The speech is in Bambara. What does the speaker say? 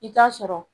I bi t'a sɔrɔ